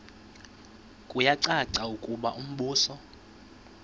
kuyacaca ukuba umbuso